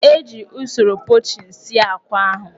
E ji usoro pochin sie akwa ahụ.